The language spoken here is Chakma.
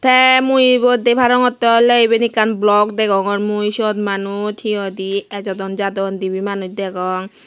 tey mui ebot dey parongotte ole eben ekkan bolok degongor mui siot manus ejodon jadon dibe manus degong.